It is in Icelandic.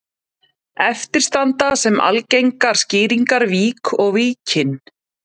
Eftir standa sem algengar skýringar vík og Víkin.